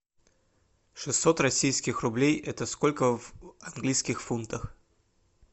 шестьсот российских рублей это сколько в английских фунтах